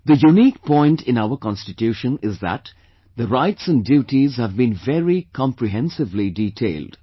The unique point in our Constitution is that the rights and duties have been very comprehensively detailed